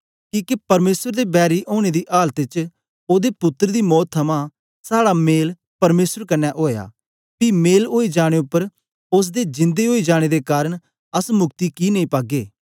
किके परमेसर दे बैरी ओनें दी आलत च ओदे पुत्तर दी मौत थमां साड़ा मेल परमेसर कन्ने ओया पी मेल ओई जाने उपर ओसदे जिंदे ओई जाने दे कारन अस मुक्ति कि नेई पागे